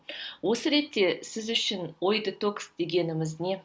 осы ретте сіз үшін ой детокс дегеніміз не